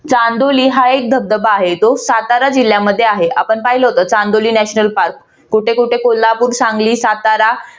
चांदोली हा एक धबधबा आहे. तो सातारा जिल्ह्यामध्ये आहे. आपण पाहिलं चांदोली national park कुठे कुठे कोल्हापूर, सांगली, सातारा